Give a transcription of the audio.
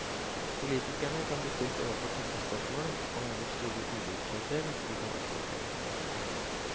Politikerne kan bli stilt overfor tøffe spørsmål om hvor store ulikheter de kan akseptere.